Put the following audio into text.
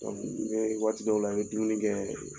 i bɛ waati dɔw la i bɛ dumuni kɛ